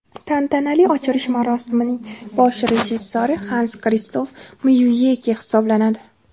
Tantanali ochilish marosimining bosh rejissyori Xans Kristof Myuyeke hisoblanadi.